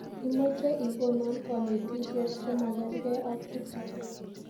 Imache igono kanetishet chemagergei ak chuto